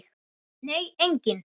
Nei, enginn